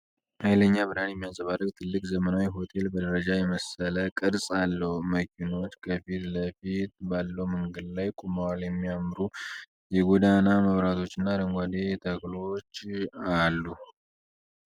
ኃይለኛ ብርሃን የሚያንጸባርቅ ትልቅ፣ ዘመናዊ ሆቴል፣ በደረጃ የመሰለ ቅርጽ አለው። መኪኖች ከፊት ለፊቱ ባለው መንገድ ላይ ቆመዋል፤ የሚያምሩ የጎዳና መብራቶችና አረንጓዴ ተክሎች አሉ።